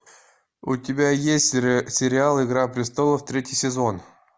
у тебя есть сериал игра престолов третий сезон